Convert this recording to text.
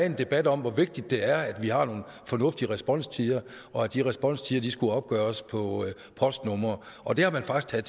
en debat om hvor vigtigt det er at vi har nogle fornuftige responstider og at de responstider skulle opgøres på postnumre og det har man faktisk